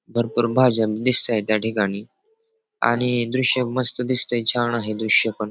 भरपूर भाज्या दिसतायत या ठिकाणी आणि द्रुष्य हे मस्त दिसतंय छान आहे द्रुष्य पण.